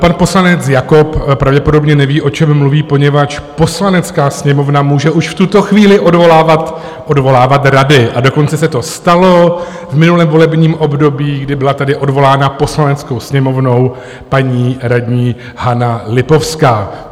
Pan poslanec Jakob pravděpodobně neví, o čem mluví, poněvadž Poslanecká sněmovna může už v tuto chvíli odvolávat rady, a dokonce se to stalo v minulém volebním období, kdy byla tady odvolána Poslaneckou sněmovnou paní radní Hana Lipovská.